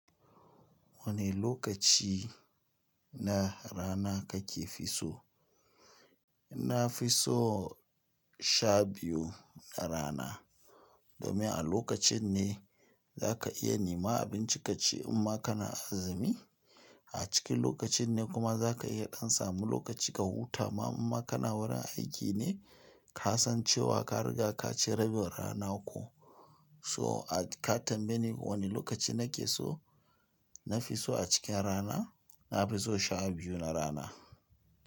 Wane lokaci na rana kake fiso? Na fi so sha biyu na rana domin a lokacin ne za ka iya nema abinci ka ci in ma kana azumi. A cikin lokacin ne kuma za ka iya ɗan samu lokaci ka huta ma in ma kana wurin aiki ne ka san cewa ka riga ka ci rabin rana ko. So ka tambaye ni wane lokaci na ke so, na fi so a cikin rana na fi so sha biyu na rana.